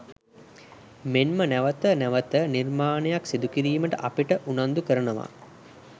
මෙන්ම නැවත නැවත නිර්මාණයක් සිදු කිරීමට අපිට උනන්දු කරනවා.